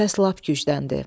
Səs lap gücləndi.